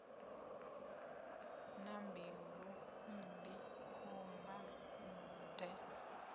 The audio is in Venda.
na mbilu mmbi khomba de